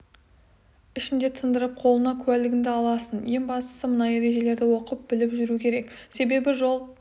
ішінде тындырып қолыңа куәлігіңді аласың ең бастысы мына ережелерді оқып біліп жүру керек себебі жол